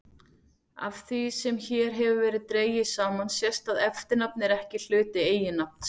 Af því sem hér hefur verið dregið saman sést að eftirnafn er ekki hluti eiginnafns.